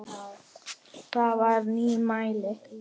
Það er nýmæli.